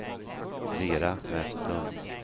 Vera Vestlund